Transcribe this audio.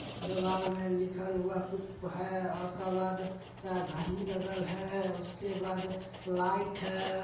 दीवाल में लिखल हुआ कुछ है और उसके बाद क्या घड़ी लगल है उसके बाद लाइट है।